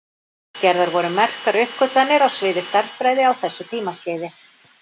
Gerðar voru merkar uppgötvanir á sviði stærðfræði á þessu tímaskeiði.